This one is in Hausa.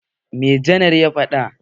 Me Janar ya faɗa?